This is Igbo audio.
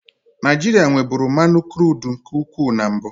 Naijiria nweburu mmanụ kurudu nke ukwuu na mbụ.